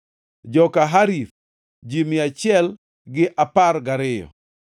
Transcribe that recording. joka Harif, ji mia achiel gi apar gariyo (112),